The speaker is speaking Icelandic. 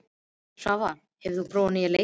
Svavar, hefur þú prófað nýja leikinn?